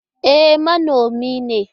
E, manomi ne.